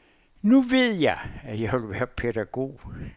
Nu ved jeg, at jeg vil være pædagog.